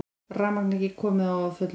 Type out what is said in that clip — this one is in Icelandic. Rafmagn ekki komið á að fullu